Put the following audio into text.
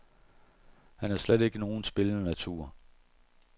Han er slet ikke nogen spillernatur.